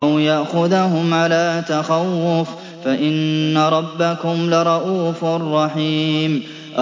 أَوْ يَأْخُذَهُمْ عَلَىٰ تَخَوُّفٍ فَإِنَّ رَبَّكُمْ لَرَءُوفٌ رَّحِيمٌ